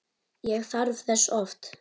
Ég þarf þess oft.